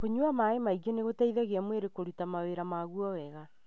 Kũnyua maĩ maingĩ nĩgũteithagia mwĩrĩ kũruta mawĩra magwo wega.